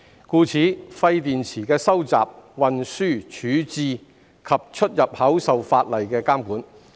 故此，廢電池的收集、運輸、處置及出入口受法例監管。